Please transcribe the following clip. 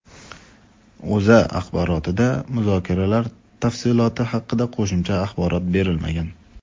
O‘zA axborotida muzokaralar tafsiloti haqida qo‘shimcha axborot berilmagan.